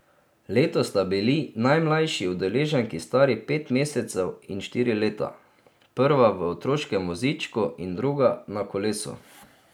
Letos sta bili najmlajši udeleženki stari pet mesecev in štiri leta, prva v otroškem vozičku in druga na kolesu.